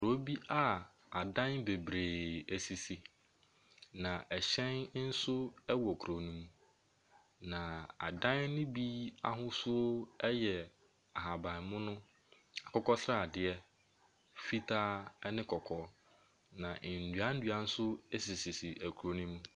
Kuro bi a adan bebree sisi, na ɛhyɛn nso wɔ kuro no mu, na adan no bi ahosuo yɛ ahabammono, akokɔsradeɛ, fitaa ne kɔkɔɔ, na nnuannua nso sisi sisi kuro no mu.